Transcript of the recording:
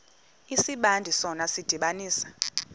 isibandakanyi sona sidibanisa